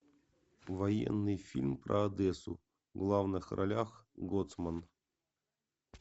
военный фильм про одессу в главных ролях гоцман